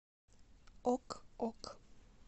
ок ок